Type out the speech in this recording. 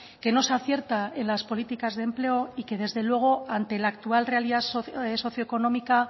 que no se acierta en las políticas de empleo y que desde luego ante la actual realidad socioeconómica